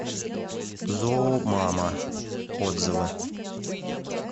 зоомама отзывы